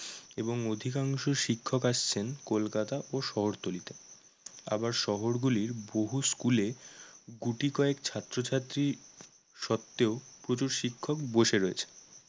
এবং অধিকাংশ শিক্ষক আসছেন কলকাতা ও শহরতলি থেকে। আবার শহরগুলির বহু school এ গুটিকয়েক ছাত্রছাত্রী সত্ত্বেও প্রচুর শিক্ষক বসে রয়েছেন।